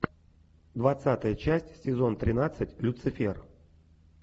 двадцатая часть сезон тринадцать люцифер